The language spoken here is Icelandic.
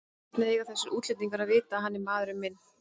Hvernig eiga þessir útlendingar að vita að hann er maðurinn minn?